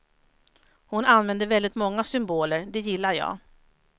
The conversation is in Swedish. Hon använder väldigt många symboler, det gillar jag.